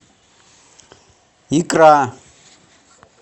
икра